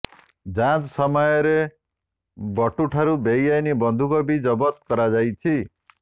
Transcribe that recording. ଯାଞ୍ଚ ସମୟରେ ବଟୁଠାରୁ ବେଆଇନ୍ ବନ୍ଧୁକ ବି ଜବତ କରାଯାଇଛି